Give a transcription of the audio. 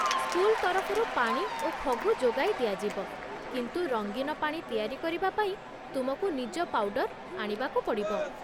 School ତରଫରୁ ପାଣି ଓ ଫଗୁ ଯୋଗାଇ ଦିଆଯିବ, କିନ୍ତୁ ରଙ୍ଗିନ ପାଣି ତିଆରି କରିବା ପାଇଁ ତୁମକୁ ନିଜ ପାଉଡର ଆଣିବାକୁ ପଡ଼ିବ।